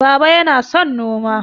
Baba yana son noma